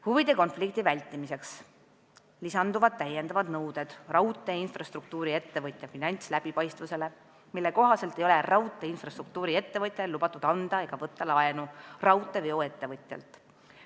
Huvide konflikti vältimiseks lisanduvad täiendavad nõuded raudteeinfrastruktuuri-ettevõtja finantsläbipaistvuse kohta, mille kohaselt ei ole raudteeinfrastruktuuri-ettevõtjal lubatud anda laenu raudteeveo-ettevõtjale ega temalt laenu võtta.